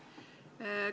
Aitäh!